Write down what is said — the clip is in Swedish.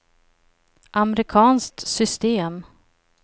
amerikanskt system